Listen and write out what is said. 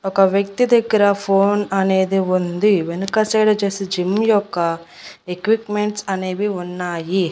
ఒక వ్యక్తి దగ్గర ఫోన్ అనేది ఉంది వెనుక సైడ్ వచ్చేసి జిమ్ యొక్క ఎక్విప్మెంట్స్ అనేవి ఉన్నాయి.